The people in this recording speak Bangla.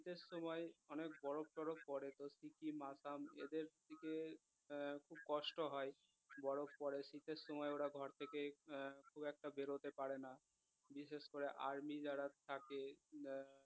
শীতের সময় অনেক বরফ টরফ পরে তো সিকিম আসাম এদের দিকের আহ খুব কষ্ট হয় বরফ পরে শীতের সময় ওরা ঘর থেকে আহ খুব একটা বেরোতে পারে না বিশেষ করে আর্মি যারা থাকে আহ